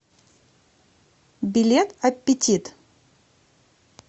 билет аппетит